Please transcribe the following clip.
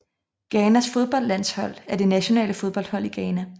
Ghanas fodboldlandshold er det nationale fodboldhold i Ghana